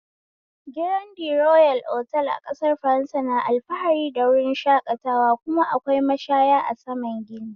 Girandi royal otal a ƙasar faransa na alfahari da wurin shakatawa, kuma akwai mashaya a saman gini